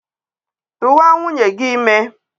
Tụwa nwunye gị ime!